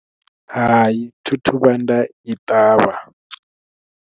Hai thi thu vhuya nda i ṱavha.